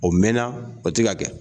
O mɛnna o tɛ ka kɛ.